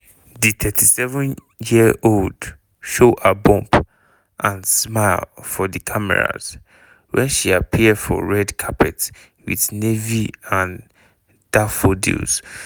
di 37-year-old show her bump and smile for di cameras wen she appear for red carpet wit navy and daffodils.